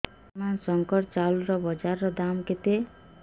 ବର୍ତ୍ତମାନ ଶଙ୍କର ଚାଉଳର ବଜାର ଦାମ୍ କେତେ